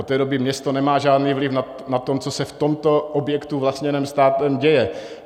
Od té doby město nemá žádný vliv na to, co se v tomto objektu vlastněném státem děje.